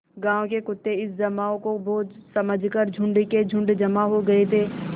गाँव के कुत्ते इस जमाव को भोज समझ कर झुंड के झुंड जमा हो गये थे